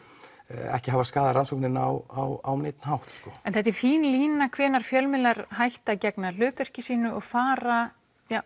ekki hafa skaðað rannsóknina á neinn hátt en þetta er fín lína hvenær fjölmiðlar hætta að gegna hlutverki sínu og fara